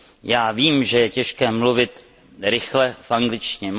Já vím, že je těžké mluvit rychle v angličtině.